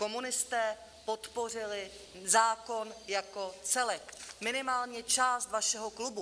Komunisté podpořili zákon jako celek, minimálně část vašeho klubu.